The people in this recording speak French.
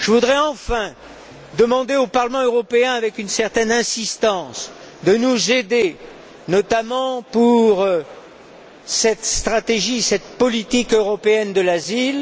Je voudrais enfin demander au Parlement européen, avec une certaine insistance, de nous aider, notamment pour cette stratégie, cette politique européenne de l'asile.